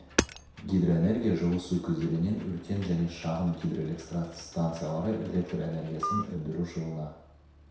гидроэнергия жылы су көздерінен үлкен және шағын гидроэлектрстанциялары электр энергиясын өндіру жылына